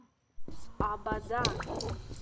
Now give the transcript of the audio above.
абадан